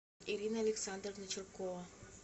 ирина александровна чуркова